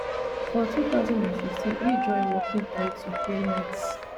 for two thousand and fifteen e join working title playwrights